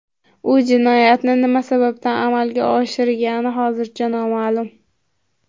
U jinoyatni nima sababdan amalga oshirgani hozircha noma’lum.